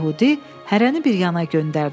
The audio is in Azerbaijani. Yəhudi hərəni bir yana göndərdi.